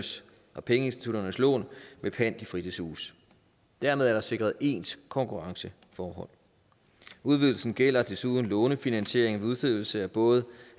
og pengeinstitutternes lån med pant i fritidshuse dermed er der sikret ens konkurrenceforhold udvidelsen gælder desuden lånefinansiering ved udstedelse af både